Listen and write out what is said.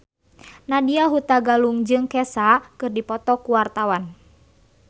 Nadya Hutagalung jeung Kesha keur dipoto ku wartawan